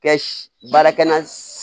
Kɛ baarakɛla